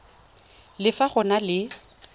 le fa go na le